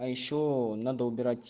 а ещё надо убирать